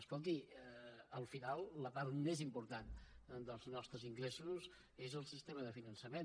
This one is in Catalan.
escolti al final la part més important dels nostres ingressos és el sistema de finançament